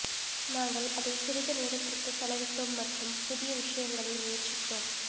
நாங்கள் அதை சிறிது நேரத்திற்கு செலவிட்டோம் மற்றும் புதிய விஷயங்களை முயற்சித்தோம்